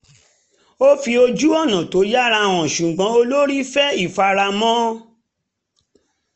ó fi ojú-ọ̀nà tó yára hàn ṣùgbọ́n olórí fẹ́ ìfaramọ́